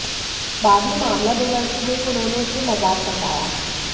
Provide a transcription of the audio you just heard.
बाद में मामला बिगड़ते देख उन्होंने इसे मजाक बताया